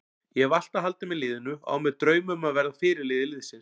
Ég hef alltaf haldið með liðinu og á mér drauma um að verða fyrirliði liðsins.